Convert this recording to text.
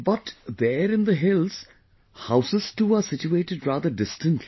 But there in the hills, houses too are situated rather distantly